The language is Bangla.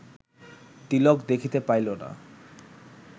তিলক দেখিতে পাইল না